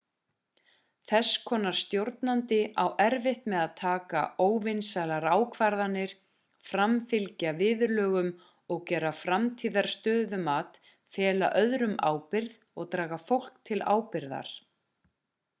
þess konar stjórnandi á erfitt með að taka óvinsælar ákvarðanir framfylgja viðurlögum gera frammistöðumat fela öðrum ábyrgð og draga fólk til ábyrgðar